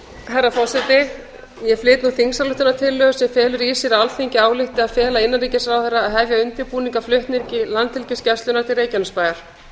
herra forseti ég flyt nú þingsályktunartillögu sem felur í sér að alþingi álykti að fela innanríkisráðherra að hefja undirbúning að flutningi landhelgisgæslunnar til reykjanesbæjar